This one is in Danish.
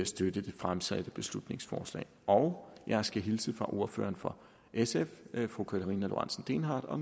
støtte det fremsatte beslutningsforslag og jeg skal hilse fra ordføreren for sf fru karina lorentzen dehnhardt og